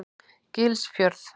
Gilsfjörð